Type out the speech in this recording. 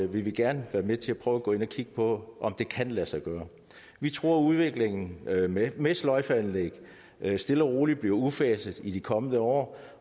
vi gerne være med til at prøve at gå ind og kigge på om det kan lade sig gøre vi tror at udviklingen med med sløjfeanlæg stille og roligt bliver udfaset i de kommende år